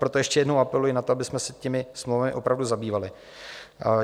Proto ještě jednou apeluji na to, abychom se těmito smlouvami opravdu zabývali.